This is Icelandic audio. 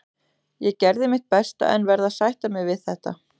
Ég gerði mitt besta en verð að sætta mig við þetta.